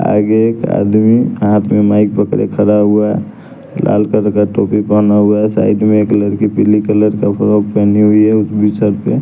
आगे एक आदमी हाथ में माइक पकड़े खड़ा हुआ है लाल कलर का टोपी पहना हुआ है साइड में एक लड़की पीली कलर का फ्रॉक पहनी हुई है उस पे।